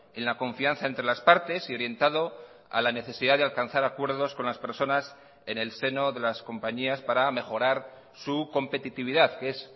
en la confianza entre las partes y orientado a la necesidad de alcanzar acuerdos con las personas en el seno de las compañías para mejorar su competitividad que es